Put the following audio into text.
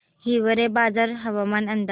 हिवरेबाजार हवामान अंदाज